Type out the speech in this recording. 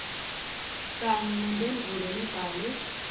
kanye nemphendvulo lebhalwe